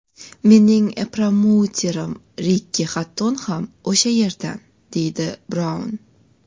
Mening promouterim Rikki Xatton ham o‘sha yerdan”, deydi Braun.